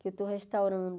Que eu estou restaurando.